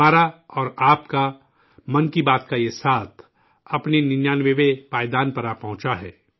ہمارا اور آپ کا 'من کی بات' کا یہ ساتھ، اپنے ننیانوے 99ویں پائیدان پر آ پہنچا ہے